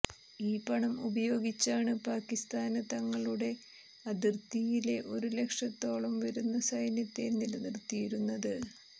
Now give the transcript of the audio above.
ഈ പണം ഉപയോഗിച്ചാണ് പാക്കിസ്ഥാന് തങ്ങളുടെ അതിര്ത്തിയിലെ ഒരു ലക്ഷത്തോളം വരുന്ന സൈന്യത്തെ നിലനിര്ത്തിയിരുന്നത്